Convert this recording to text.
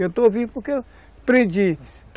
Eu estou vivo porque eu aprendi.